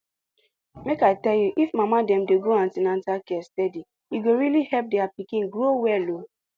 make i tell you if mama dem dey go an ten atal care steady e go really help their pikin grow well oh